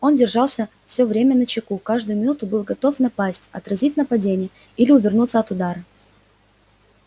он держался всё время начеку каждую минуту был готов напасть отразить нападение или увернуться от удара